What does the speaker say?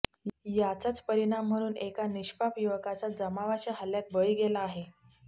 याचाच परिणाम म्हणून एका निष्पाप युवकाचा जमावाच्या हल्ल्यात बळी गेला आहे